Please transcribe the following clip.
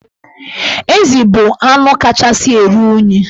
Ezi bụ anụ kachasị eru unyi.